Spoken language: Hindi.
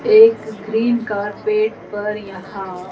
एक ग्रीन कार्पेट पर यहां--